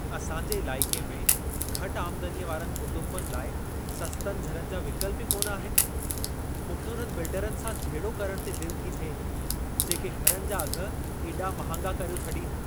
असां जे इलाइक़े में घटि आमदनीअ वारनि कुटुंबनि लाइ सस्तनि घरनि जा विकल्प ई कोन आहिनि। मूंखे उन्हनि बिल्डरनि सां झेड़ो करण ते दिलि थी थिए, जेके घरनि जा अघि एॾा महांगा करियो छॾीनि।